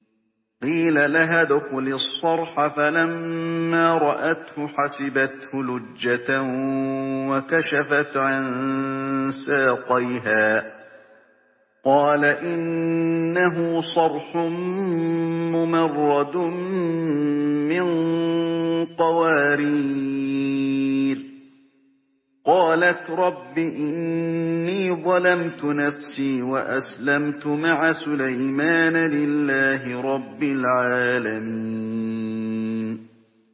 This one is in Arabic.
قِيلَ لَهَا ادْخُلِي الصَّرْحَ ۖ فَلَمَّا رَأَتْهُ حَسِبَتْهُ لُجَّةً وَكَشَفَتْ عَن سَاقَيْهَا ۚ قَالَ إِنَّهُ صَرْحٌ مُّمَرَّدٌ مِّن قَوَارِيرَ ۗ قَالَتْ رَبِّ إِنِّي ظَلَمْتُ نَفْسِي وَأَسْلَمْتُ مَعَ سُلَيْمَانَ لِلَّهِ رَبِّ الْعَالَمِينَ